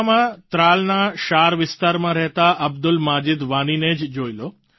પુલવામા માં ત્રાલના શાર વિસ્તારમાં રહેતા અબ્દુલ મજીદ વાની ને જ જોઈ લો